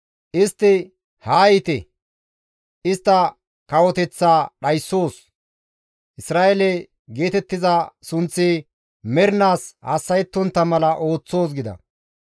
Istti, «Haa yiite! Istta kawoteththa dhayssoos; Isra7eele geetettiza sunththi mernaas hassa7ettontta mala ooththoos» gida.